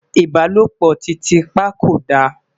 ìbálòpọ̀ titi pa kò dá